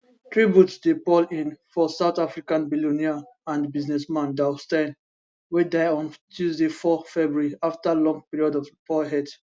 tributes dey pour in for south african billionaire and businessman douw steyn wey die on tuesday 4 february afta long period of poor health